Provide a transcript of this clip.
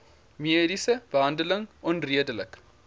mediese behandeling onredelik